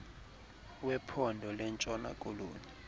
wephondo lentshona koloni